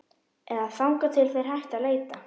Eða þangað til þeir hætta að leita.